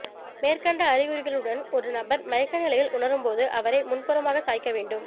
மேற்கண்ட அறிகுறிகளுடன் ஒரு நபர் மயக்க நிலையை உணரும்போது அவரை முன்புறமாக சாய்க்க வேண்டும்